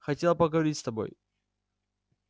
хотела поговорить с тобой